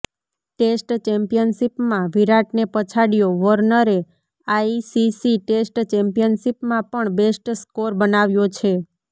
test ચેમ્પિયનશિપમાં વિરાટને પછાડ્યો વોર્નરે આઈસીસી ટેસ્ટ ચેમ્પિયનશિપમાં પણ બેસ્ટ સ્કોર બનાવ્યો છે